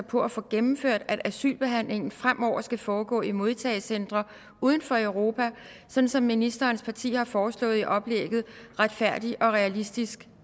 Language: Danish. på at få gennemført at asylbehandlingen fremover skal foregå i modtagecentre uden for europa sådan som ministerens parti har foreslået i oplægget retfærdig og realistisk